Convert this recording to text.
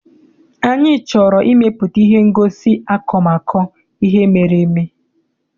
Anyị chọrọ ịmepụta ihe ngosi akọmakọ ihe mere eme.